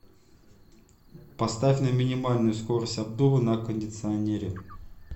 поставь на минимальную скорость обдува на кондиционере